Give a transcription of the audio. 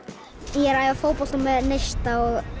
ég er að æfa fótbolta með neista